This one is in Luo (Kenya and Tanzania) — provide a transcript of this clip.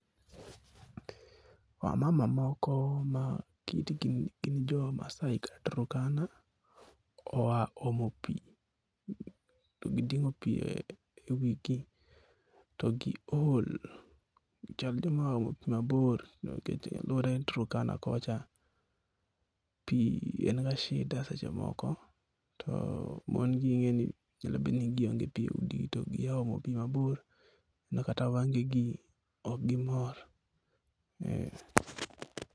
Wamama moko ma kitgi en Maasai kata Turkana oa omo pi. To giting'o pi e wigi to giol, chal gima giya omo pi mabor nikech aluora en Turkana kocha. Pi en ga shida seche moko, to mongi ing'eni nyalo bedo ni gionge pi e udigi to giya omo pi mabor makata wengegi ok gimor.